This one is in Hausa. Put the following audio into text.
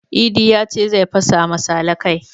Idi yace zai fasa ma sale kai